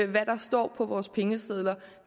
hvad der står på vores pengesedler